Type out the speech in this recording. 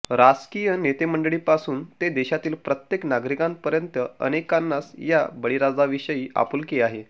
राजकीय नेतेमंडळींपासून ते देशातील प्रत्येक नागरिकापर्यंत अनेकांनाच या बळीराजाविषयी आपुलकी आहे